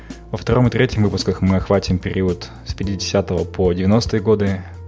во втором и третьем выпусках мы охватим период с пятидесятого по девяностые годы